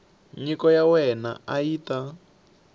nyiko ya wena yi ta